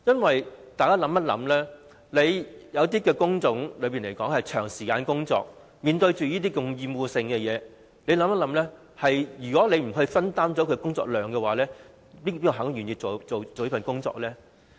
大家想一想，有一些工種需要員工長時間工作，而且處理厭惡性的工作，如果不分擔工作量，試問誰會願意做這份工作呢？